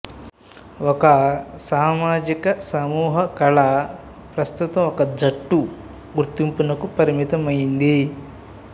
ఒక సామాజిక సమూహకళ ప్రస్తుతం ఒక జట్టు గుర్తింపునకు పరిమితమైంది